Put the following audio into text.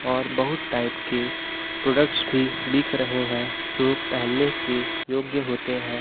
और बहुत टाइप की प्रोडक्ट्स भी बिक रहे है जो पेहनने के योग्य होते हैं।